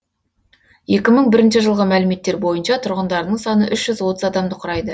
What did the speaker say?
екі мың бірінші жылғы мәліметтер бойынша тұрғындарының саны үш жүз отыз адамды құрайды